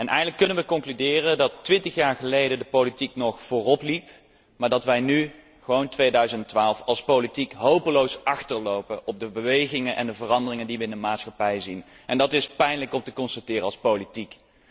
Eigenlijk kunnen wij concluderen dat twintig jaar geleden de politiek nog vooropliep, maar dat wij nu in 2012 als politiek hopeloos achterlopen op de bewegingen en de veranderingen die wij in de maatschappij zien. En dat is pijnlijk om te constateren als politiek.